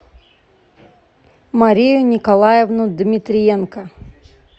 марию николаевну дмитриенко